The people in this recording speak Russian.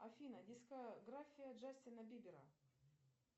афина дискография джастина бибера